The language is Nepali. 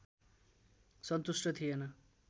सन्तुष्ट थिएन